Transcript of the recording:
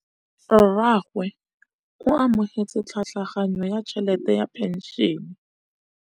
Rragwe o amogetse tlhatlhaganyô ya tšhelête ya phenšene.